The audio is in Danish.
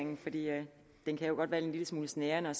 ministeren er